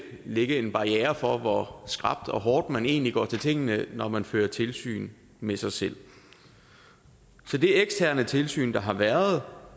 ligge en barriere for hvor skrapt og hårdt man egentlig går til tingene når man fører tilsyn med sig selv for det eksterne tilsyn der har været